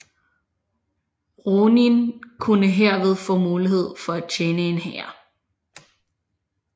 Ronin kunne herved få mulighed for at tjene en herre